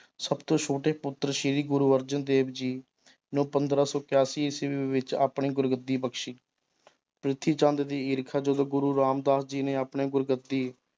ਸਭ ਤੋਂ ਛੋਟੇ ਪੁੱਤਰ ਸ੍ਰੀ ਗੁਰੂ ਅਰਜਨ ਦੇਵ ਜੀ ਨੂੰ ਪੰਦਰਾਂ ਸੌ ਕਿਆਸੀ ਈਸਵੀ ਵਿੱਚ ਆਪਣੀ ਗੁਰਗੱਦੀ ਬਖ਼ਸੀ ਪ੍ਰਿਥੀਚੰਦ ਦੀ ਈਰਖਾ ਜਦੋਂ ਗੁਰੂ ਰਾਮਦਾਸ ਜੀ ਨੇ ਆਪਣੇ ਗੁਰਗੱਦੀ